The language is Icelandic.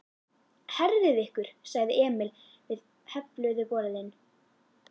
Herðið ykkur sagði Emil við hefluðu borðin.